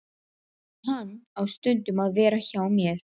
En hann á stundum að vera hjá mér.